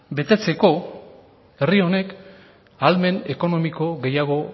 betetzeko herri honek ahalmen ekonomiko gehiago